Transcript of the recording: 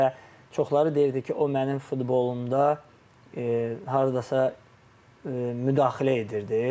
Və çoxları deyirdi ki, o mənim futbolumda hardasa müdaxilə edirdi.